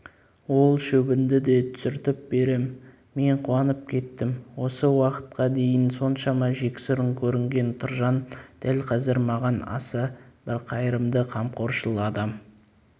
ол шөбіңді де түсіртіп берем мен қуанып кеттім осы уақытқа дейін соншама жексұрын көрінген тұржан дәл қазір маған аса бір қайырымды қамқоршыл адам